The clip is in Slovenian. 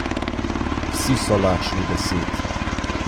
Vsi so lačni besed.